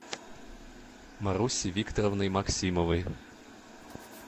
марусей викторовной максимовой